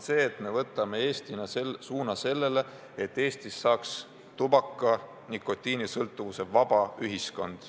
See on, et võtame riigina suuna sellele, et Eestist saaks tubaka- ja nikotiinisõltuvusest vaba ühiskond.